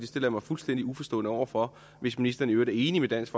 stiller mig fuldstændig uforstående over for hvis ministeren i øvrigt er enig med dansk